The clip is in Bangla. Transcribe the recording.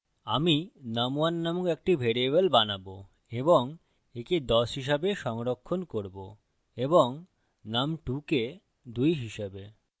আমি num1 num1 একটি ভ্যারিয়েবল বানাবো এবং একে ১০ হিসাবে সংরক্ষণ করব এবং num2 কে ২ হিসাবে